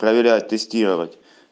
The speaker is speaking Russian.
проверять тестировать